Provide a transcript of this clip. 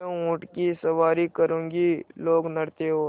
मैं ऊँट की सवारी करूँगी लोकनृत्य और